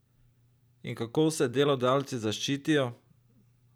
In kako se delodajalci zaščitijo?